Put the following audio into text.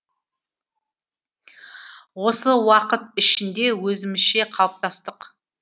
осы уақыт ішінде өзімізше қалыптастық